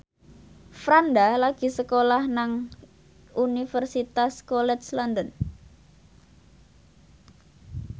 Franda lagi sekolah nang Universitas College London